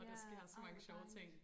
Ja ej hvor dejligt